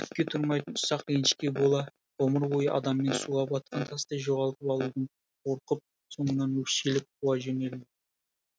түкке тұрмайтын ұсақ ренішке бола ғұмыр бойы адамын суға батқан тастай жоғалтып алудан қорқып соңынан өкшелеп қуа жөнелді